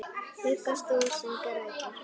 Huggast þú sem grætur.